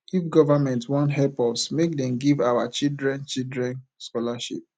if government wan help us make dem give our children children scholarship